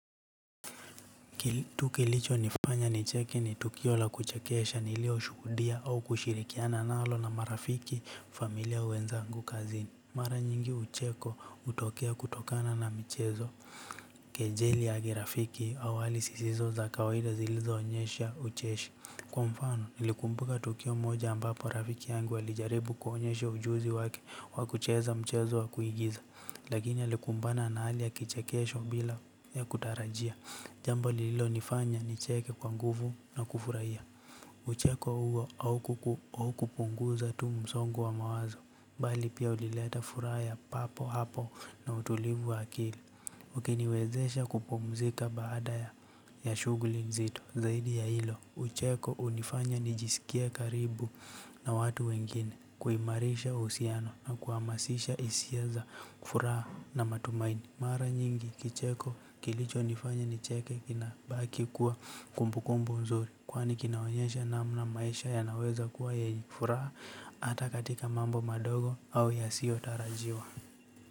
Tu kilicho nifanya nicheki ni tukio la kuchekesha nilioshuhudia au kushirikiana nalo na marafiki familia ua wezangu kazini. Mara nyingi ucheko utokea kutokana na michezo. Kejeli ya kirafiki awali sisizo za kawaida zilizoonyesha ucheshi. Kwa mfano nilikumbuka tukio moja ambapo rafiki yangu alijaribu kuonyesha ujuzi wake wa kucheza mchezo wa kuigiza. Lakini alikumbana na hali ya kichekesho bila ya kutarajia. Jambo lilonifanya nicheke kwa nguvu na kufurahia. Ucheko huo au kupunguza tu msongo wa mawazo bali pia ulileta furaha ya papo hapo na utulivu wa akili. Ukiniwezesha kupumzika baada ya shugli nzito zaidi ya ilo ucheko unifanya nijiskie karibu na watu wengine kuimarisha husiano na kuamasisha isia za furaa na matumaini mara nyingi kicheko kilichonifanya nicheke kinabaki kuwa kumbukumbu nzuri kwani kinaonyesha namna maisha yanaweza kuwa ye furaha ata katika mambo madogo au yasiyo tarajiwa.